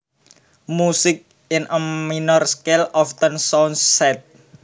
Music in a minor scale often sounds sad